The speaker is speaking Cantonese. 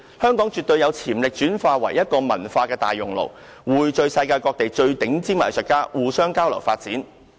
香港絕對有潛力轉化為一個文化大熔爐，匯聚世界各地最頂尖的藝術家，互相交流啟發。